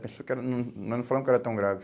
Achou que era hum nós não falamos que era tão grave.